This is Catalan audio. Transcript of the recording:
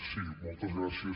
sí moltes gràcies